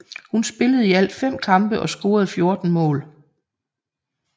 Hun spillede i alle fem kampe og scorede 14 mål